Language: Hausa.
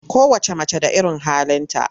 Kowacce mace da irin halinta.